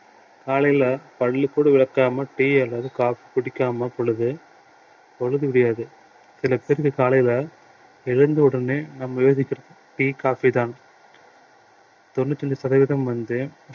காலையில பல்லு கூட விளக்காமல் tea அல்லது coffee குடிக்காமல் பொழுது பொழுது விடியாது எனக்கு தெரிஞ்சு காலையில எழுந்த உடனே நம்ம tea coffee தான் தொண்ணூத்தி அஞ்சு சதவீதம் வந்து